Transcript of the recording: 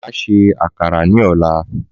Má ṣe àkàrà ní ọ̀la